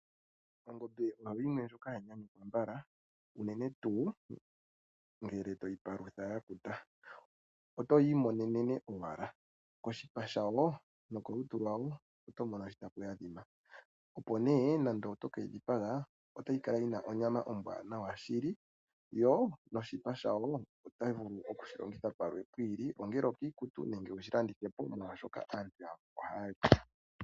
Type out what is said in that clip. Ongombe oyo yimwendjoka hayi nyanyukwa mbala unene tuu ngele to yi palutha ya kuta. Oto yi imonene owala koshipa shawo nokolutu lwayo oto mono shi tayi adhima. Uuna toke yi dhipaga otayi kala yi na onyama ombwaanawa shili yo noshipa shawo oto vulu okushi longitha shimwe shi ili, ongele okuninga iikutu nenge wu shi landithe po, molwashoka aantu yamwe ohaya li.